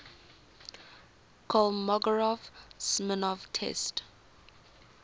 kolmogorov smirnov test